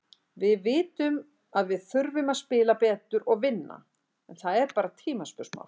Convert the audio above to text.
Við vitum að við þurfum að spila betur og vinna, en það er bara tímaspursmál.